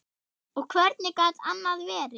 Og hvernig gat annað verið?